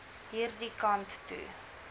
hierdie kant toe